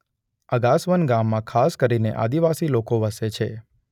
અગાસવન ગામમાં ખાસ કરીને આદિવાસી લોકો વસે છે.